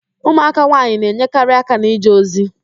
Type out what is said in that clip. Ụmụaka nwaanyị na-enyekarị aka n'ije ozi